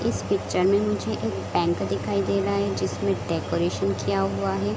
इस पिक्चर में मुझे एक बैंक दिखाई दे रहा है जिसमें डेकोरेशन किया हुआ है।